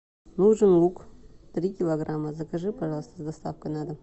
нужен лук три килограмма закажи пожалуйста с доставкой на дом